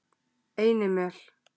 Einimel